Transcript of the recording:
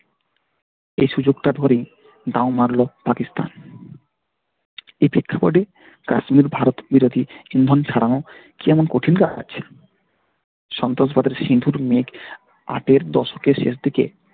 এই সুযোগটা ধরে মারল পাকিস্তান কাশ্মীর ভারতবিরোধী হিন্দি ছাড়াও সন্ত্রাসবাদের হিন্দুদের মেয়েকে ষাটের দশকের শেষদিকে